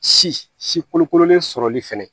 Si si kolokololen sɔrɔli fana